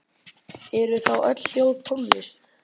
Eru þá öll hljóð tónlist?